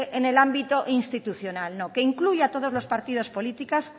en el ámbito institucional no que incluya a todos los partidos políticos